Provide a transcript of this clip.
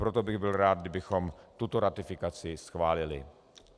Proto bych byl rád, kdybychom tuto ratifikaci schválili.